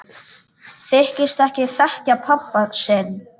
Þykist ekki þekkja pabba sinn!